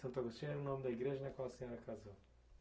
Santo Agostinho era o nome da igreja na qual a senhora casou.